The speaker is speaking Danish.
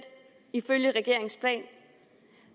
ifølge regeringens plan